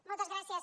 moltes gràcies